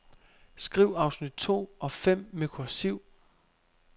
Skriv afsnit to og fem med kursiv.